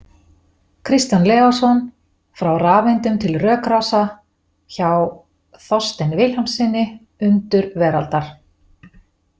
Kristján Leósson, „Frá rafeindum til rökrása“ , hjá Þorsteini Vilhjálmssyni, Undur veraldar.